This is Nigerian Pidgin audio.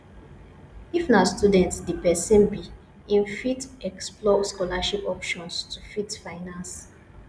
if na student di perosn be im fit explore scholarship options to fit finance